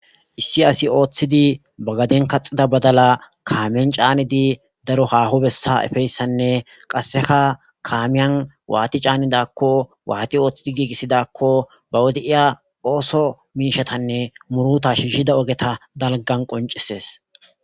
issi asi ooththidi bagaden kaxida badala kaamen caanidi daro haaho bessa efeyssanne qasseka kaamiyan waati caanidakko waati ooththidi giigisidakko ba wode7iya ooso miishatanne muruta shihida ogeta dalgan qoncisees.